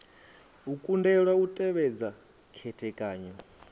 u kundelwa u tevhedza khethekanyo